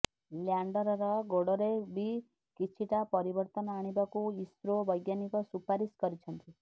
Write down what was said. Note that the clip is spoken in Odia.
ଲ୍ୟାଣ୍ଡରର ଗୋଡରେ ବି କିଛିଟା ପରିବର୍ତନ ଆଣିବାକୁ ଇସ୍ରୋ ବୈଜ୍ଞାନିକ ସୁପାରିଶ କରିଛନ୍ତି